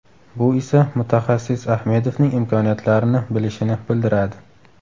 Bu esa mutaxassis Ahmedovning imkoniyatlarini bilishini bildiradi.